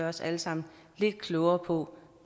os alle sammen lidt klogere på